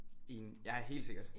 Enig ja helt sikkert